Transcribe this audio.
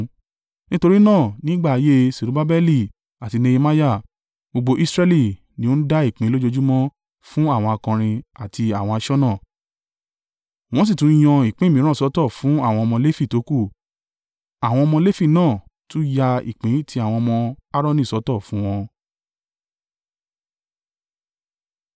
Nítorí náà ní ìgbà ayé Serubbabeli àti Nehemiah, gbogbo Israẹli ni ó ń dá ìpín lójoojúmọ́ fún àwọn akọrin àti àwọn aṣọ́nà. Wọ́n sì tún yan ìpín mìíràn sọ́tọ̀ fún àwọn ọmọ Lefi tókù, àwọn ọmọ Lefi náà tún ya ìpín ti àwọn ọmọ Aaroni sọ́tọ̀ fún wọn.